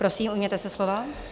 Prosím, ujměte se slova.